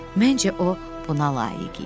Məncə o buna layiq idi.